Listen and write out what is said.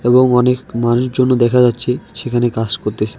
এবং অনেক দেখা যাচ্ছে সেখানে কাজ করতেসে।